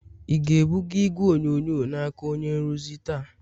ị ga-ebuga igwe onyonyo n'aka onye nrụzi taa?